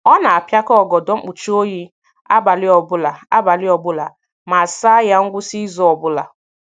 Ọ na-apiakọ ọgọdọ mkpuchi oyi abalị ọbụla abalị ọbụla ma saa ya ngwụsị izu ọbụla.